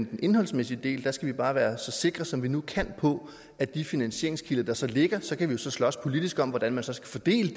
den indholdsmæssige del skal vi bare være så sikre som vi nu kan på at de finansieringskilder der så ligger og så kan vi slås politisk om hvordan man så skal fordele